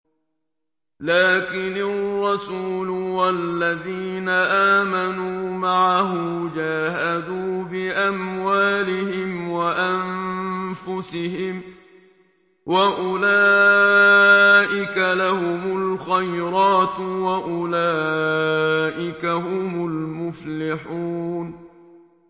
لَٰكِنِ الرَّسُولُ وَالَّذِينَ آمَنُوا مَعَهُ جَاهَدُوا بِأَمْوَالِهِمْ وَأَنفُسِهِمْ ۚ وَأُولَٰئِكَ لَهُمُ الْخَيْرَاتُ ۖ وَأُولَٰئِكَ هُمُ الْمُفْلِحُونَ